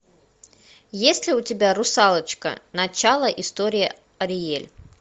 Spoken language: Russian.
есть ли у тебя русалочка начало истории ариэль